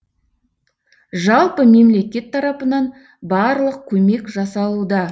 жалпы мемлекет тарапынан барлық көмек жасалуда